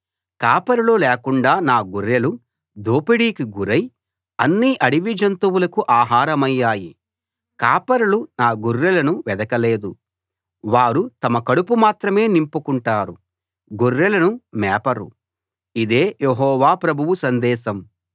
కాపరులు లేకుండా నా గొర్రెలు దోపిడీకి గురై అన్ని అడవి జంతువులకు ఆహారమయ్యాయి కాపరులు నా గొర్రెలను వెదకలేదు వారు తమ కడుపు మాత్రమే నింపుకుంటారు గొర్రెలను మేపరు ఇదే యెహోవా ప్రభువు సందేశం